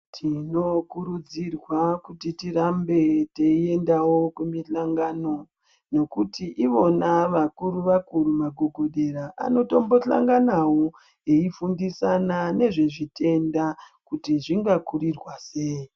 Tinokurudzirwa kuti tirambe toendao kumihlangano. Ngekuti ivona vakuru-vakuru magogodera anotombohlanganavo eifundisana nezvechitenda kuti zvinga kurirwa sei.